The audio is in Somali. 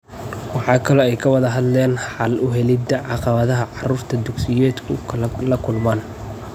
Waxa kale oo ay ka wada hadleen xal u helida caqabadaha carruurta dugsiyedku la kulmaan.